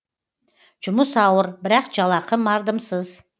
жұмыс ауыр бірақ жалақы мардымсыз